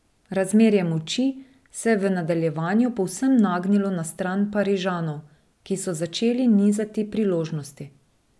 Razmerje moči se je v nadaljevanju povsem nagnilo na stran Parižanov, ki so začeli nizati priložnosti.